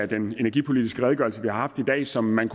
den energipolitiske redegørelse vi har haft i dag som man